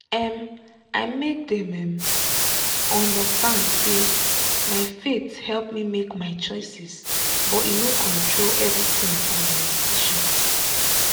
um i make dem um understand say my faith help me make my choices but e no control everything for my decision.